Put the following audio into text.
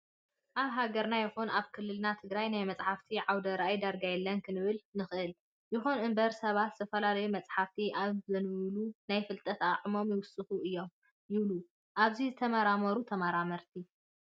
ኣብ ሀገርና ይኹን ኣብ ክልልና ትግራይ ናይ መፅሓፍቲ ዓውደ ራእይ ዳርጋ የለን ክንብል ንኽእል። ይኹን እምበር ሰባት ዝተፈላለዩ መፅሓፍቲ ኣብ ዘንብብሉ ናይ ምፍላጥ ኣቅሞም ይውስኽ እዩ ይብሉ ኣብዚ ዝተመራመሩ ተመራመርቲ።